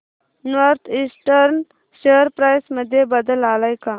north eastern share price मध्ये बदल आलाय का